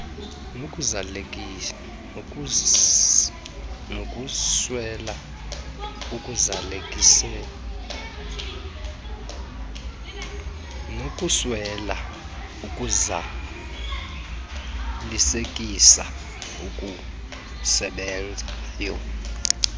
nokuswela ukuzalisekisa okusebenzayo